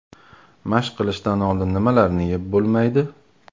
Mashq qilishdan oldin nimalarni yeb bo‘lmaydi?.